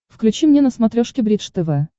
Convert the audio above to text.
включи мне на смотрешке бридж тв